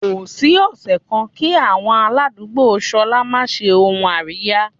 Kò sí ọ̀sẹ̀ kan kí àwọn aládùúgbò ṣolá máa ṣe ohun àríyá.